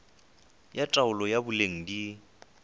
ya taolo ya boleng di